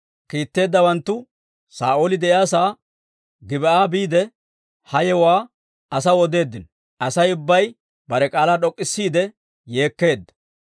Kiitetteeddawanttu Saa'ooli de'iyaasaa Gib'aa biide, ha yewuwaa asaw odeeddino; Asay ubbay bare k'aalaa d'ok'k'isiide yeekkeedda.